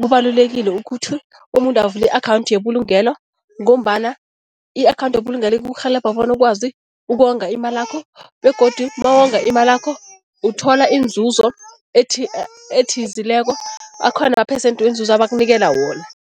kubalulekile ukuthi umuntu avule i-akhawundi yebulungelo ngombana i-akhawundi yebulungelo ikurhelebha bona ukwazi ukonga imalakho begodu nawonga imalakho uthola inzuzo ethizileko, akhona amaphesende wenzuzo abakunikela wona.